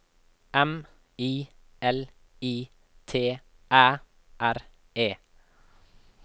M I L I T Æ R E